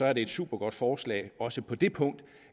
er det et supergodt forslag også på det punkt